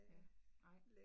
Ja, nej